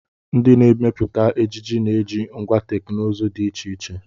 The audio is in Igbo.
Ndị na-emepụta ejiji na-eji ngwá teknụzụ dị iche iche.